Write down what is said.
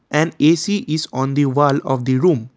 and A_C is on the wall of the room.